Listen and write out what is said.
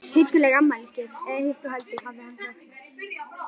Hugguleg afmælisgjöf eða hitt þó heldur, hafði hann sagt.